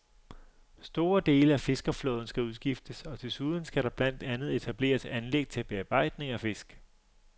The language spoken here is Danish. Store dele af fiskerflåden skal udskiftes, og desuden skal der blandt andet etableres anlæg til bearbejdning af fisk.